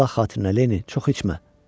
Allah xatirinə Lenni, çox içmə.